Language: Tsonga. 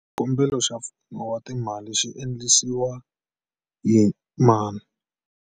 Xikombelo xa Pfuno wa timali xi endlisiwa yi mani?